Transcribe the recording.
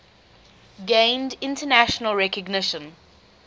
gained international recognition